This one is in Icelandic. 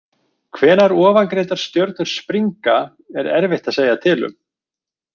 Hvenær ofangreindar stjörnur springa er erfitt að segja til um.